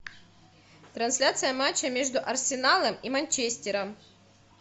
трансляция матча между арсеналом и манчестером